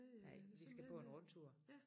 Nej vi skal på en rundtur